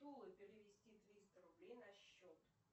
перевести триста рублей на счет